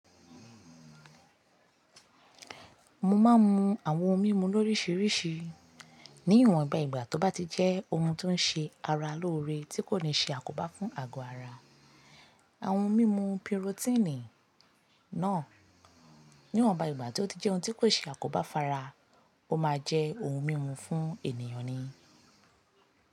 Mo máa ń mu àwọn ohun mímu lóríṣiríṣi ní ìwọn ìgbà ìgbà tó bá ti jẹ́ ohun tó ń ṣe ara lóore tí kò ní ṣe àkóbá fún àgọ́ ara. Àwọn ohun mímu pirotíìnì náà níwọn ìgbà tó ti jẹ́ ohun tí kò ṣe àkóbá fara, ó máa jẹ́ ohun mímu fún ènìyàn ni.